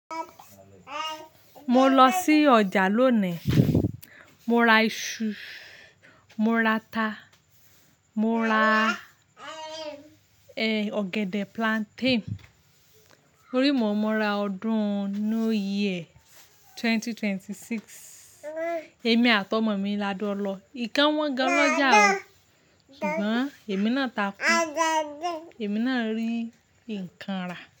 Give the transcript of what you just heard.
Mo lọ sí ọjà lónìí. Mo ra iṣu, mo ra ata, mo ra, eh, ọ̀gẹ̀dẹ̀ plantain. Orí mọ̀ọ́mọ ra ọdún New Year 2026. Èmi àtọ̀mọ̀mi lájọ lọ. Nǹkan wọ́n gan lọ́jà o. Ṣùgbọ́n èmi náà takú. Èmi náà rí nǹkan rà.